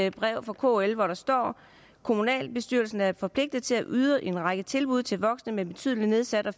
et brev fra kl hvor der står kommunalbestyrelsen er forpligtet til at yde en række tilbud til voksne med betydelig nedsat